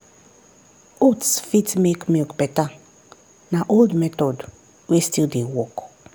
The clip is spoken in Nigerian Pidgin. oats fit make milk better na old method wey still dey work.